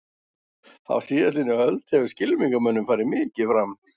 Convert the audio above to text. Á síðastliðinni öld hefur skylmingamönnum farið mikið fram.